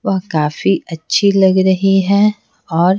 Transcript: वह काफी अच्छी लग रही है और--